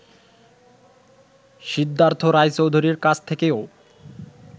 সিদ্ধার্থ রায়চৌধুরীর কাছ থেকেও